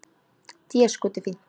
Déskoti fínt.